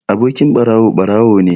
Abokin ɓarawo ɓarawo ne